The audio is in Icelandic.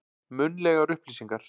Munnlegar upplýsingar.